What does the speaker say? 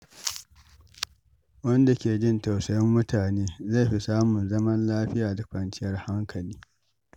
Wanda ke jin tausayin mutane zai fi samun zaman lafiya da kwanciyar hankali.